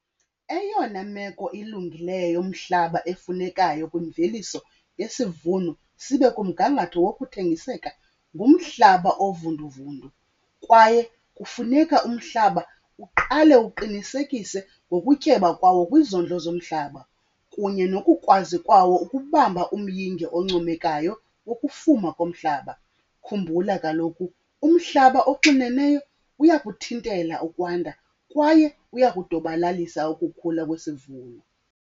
Eyona meko ilungileyo yomhlaba efunekayo kwimveliso yesivuno sibe kumgangatho wokuthengiseka ngumhlaba ovunduvundu. Kwaye kufuneka umhlaba uqale uqinisekise ngokutyeba kwawo kwizondlo zomhlaba kunye nokukwazi kwawo ukubamba umyinge oncomekayo wokufuma komhlaba. Khumbula kaloku umhlaba oxineneyo uyakuthintela ukwanda kwaye uyakudobalalisa ukukhula kwesivuno.